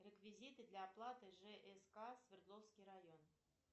реквизиты для оплаты жск свердловский район